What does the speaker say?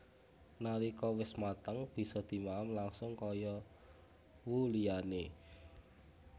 Nalika wis mateng bisa dimaem langsung kaya who liyane